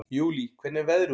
Júlí, hvernig er veðrið úti?